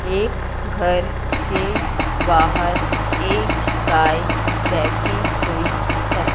एक घर के बाहर एक गाय बैठी हुई है।